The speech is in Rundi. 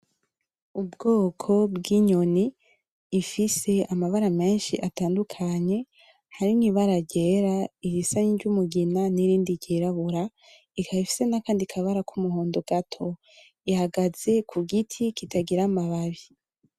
Ubwoko bw'inyoni ifise amabara menshi atandukanye harimo ibara ryera iyisa ni ry'umugina nirindi ryirabura ikaba ifise nakandi kabara k'umuhondo gato. Ihagaze kugiti kitagira amababi.